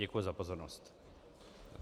Děkuji za pozornost.